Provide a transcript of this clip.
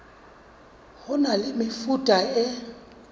ho na le mefuta e